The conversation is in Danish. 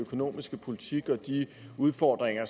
økonomiske politik og de udfordringer